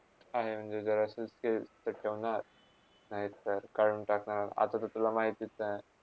आहे, म्हणजे जर असेच काय करतावना, नायतर काडून टाकणार आता ते तुलाच महितस आहे.